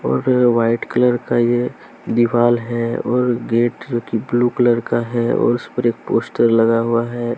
और ये white colour का ये दीवाल है और गेट जो कि ब्लू कलर का है और उस पर एक पोस्टर लगा हुआ है।